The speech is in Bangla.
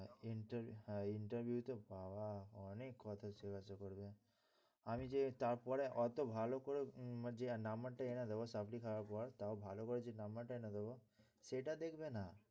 হ্যাঁ interview তে বাবা অনেক কথা জিজ্ঞাসা করবে। আমি যে তারপরে অতো ভালো করে যে নাম্বারটা এনে দেবো supply খাওয়ার পর তাও ভালো করে যে number এনে দেবো সেটা দেখবে না,